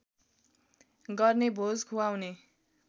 गर्ने भोज खुवाउने